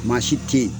Maa si tɛ yen